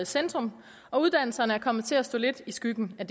centrum og uddannelserne er kommet til at stå lidt i skyggen af